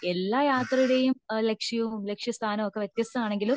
എല്ലാ യാത്രയുടെയും ഏഹ് ലക്ഷ്യവും ലക്ഷ്യ സ്ഥാനവും ഒക്കെ വത്യസ്തമാണെങ്കിലും